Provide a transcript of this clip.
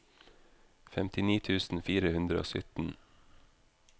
femtini tusen fire hundre og sytten